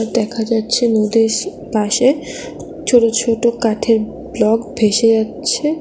দেখা যাচ্ছে নদীর পাশে ছোট ছোট কাঠের ব্লক ভেসে যাচ্ছে।